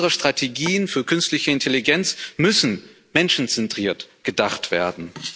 Unsere Strategien für künstliche Intelligenz müssen menschenzentriert gedacht werden.